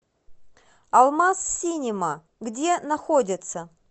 алмаз синема где находится